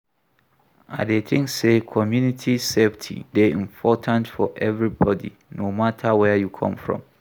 I dey think say community safety dey important for everybody, no matter where you come from.